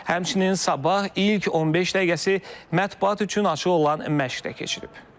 Həmçinin Sabah ilk 15 dəqiqəsi mətbuat üçün açıq olan məşq də keçirib.